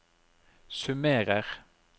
summerer